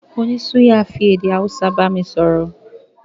Oní suya fi èdè Hausa bámi sọ̀rọ̀